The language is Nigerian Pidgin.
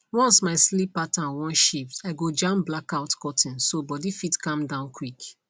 once my sleep pattern wan shift i go jam blackout curtain so body fit calm down quick